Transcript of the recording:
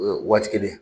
Waati kelen